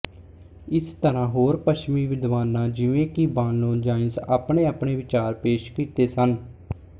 ਇਸ ਤਰਾਂ ਹੋਰ ਪਛਮੀ ਵਿਦਵਾਨਾਂ ਜਿਵੇਂ ਕਿ ਬਾਨਲੋਨਜਾਈਨਸ ਆਪਣੇ ਆਪਣੇ ਵਿਚਾਰ ਪੇਸ਼ ਕੀਤੇ ਹਨ